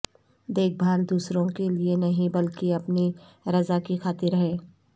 دیکھ بھال دوسروں کے لئے نہیں بلکہ اپنی رضا کی خاطر ہے